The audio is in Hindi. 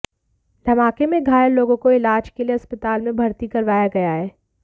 धमाके में घायल लोगों को इलाज के लिए अस्पताल में भर्ती करवाया गया है